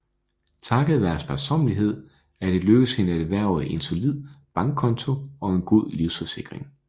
Takket være sparsommelighed er det lykkedes hende at erhverve en solid bankkonto og en god livsforsikring